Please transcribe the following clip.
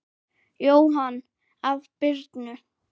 Jóhann: Af Birnu?